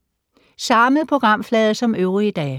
Samme programflade som øvrige dage